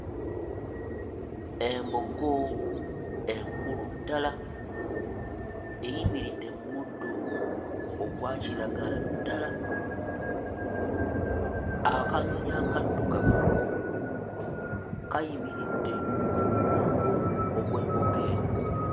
Embogo enkulu ddala eyimiridde mu muddo ogwa kiragala ddala. Akanyonyi akaddugavu kayimiridde ku mugongo ogw'embogo eno.